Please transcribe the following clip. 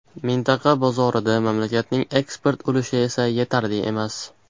Mintaqa bozorida mamlakatning eksport ulushi esa yetarli emas.